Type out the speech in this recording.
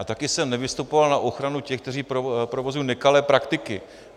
A také jsem nevystupoval na ochranu těch, kteří provozují nekalé praktiky.